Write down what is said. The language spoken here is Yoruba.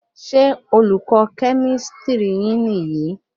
Ṣé olùkọ kemistri niyi?